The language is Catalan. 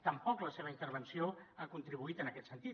tampoc la seva intervenció ha contribuït en aquest sentit